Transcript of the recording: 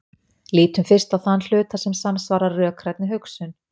Lítum fyrst á þann hluta sem samsvarar rökrænni hugsun.